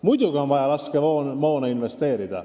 Muidugi on vaja laskemoona investeerida.